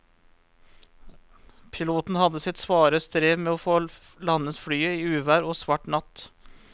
Piloten hadde sitt svare strev med å få landet flyet i uvær og svart natt.